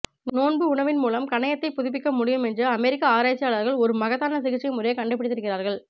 நோண்பு உணவின் மூலம் கணயத்தை புதுப்பிக்க முடியும் என்று அமெரிக்க ஆராய்ச்சியாளர்கள் ஒரு மகத்தான சிகிச்சை முறையை கண்டுபிடித்திருக்கிறார்கள்